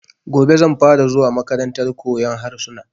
Gobe zan fara zuwa makarantar koyan harsuna